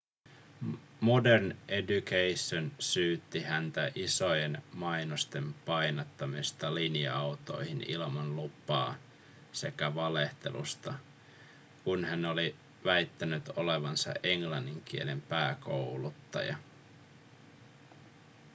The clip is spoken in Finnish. modern education syytti häntä isojen mainosten painattamisesta linja-autoihin ilman lupaa sekä valehtelusta kun hän oli väittänyt olevansa englannin kielen pääkouluttaja